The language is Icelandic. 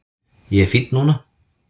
Ég er fínn núna